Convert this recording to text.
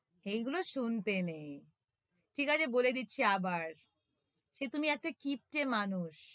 সেই গুলো শুনতে নেই ঠিক আছে বলে দিচ্ছি আবার সে তুমি একটা কিপ্টে মানুষ!